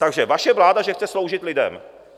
Takže vaše vláda, že chce sloužit lidem.